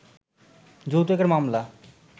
যৌতুকের মামলা